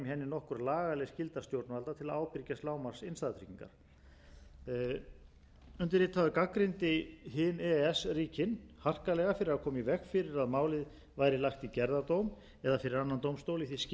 nokkur lagaleg skylda stjórnvalda til að ábyrgjast lágmarksinnstæðutryggingar undirritaður gagnrýndi hin e e s ríkin harkalega fyrir að koma í veg fyrir að málið væri lagt í gerðardóm eða fyrir annan dómstól í því skyni að koma í veg fyrir að evrópska bankakerfinu væri teflt í tvísýnu